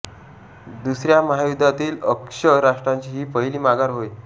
दुसऱ्या महायुद्धातील अक्ष राष्ट्रांची ही पहिली माघार होय